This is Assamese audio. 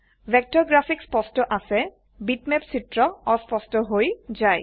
ভেক্টৰ গ্ৰাফিক্চ স্পষ্ট আছে বিটম্যাপ চিত্ৰ অস্পস্ট হৈ যায়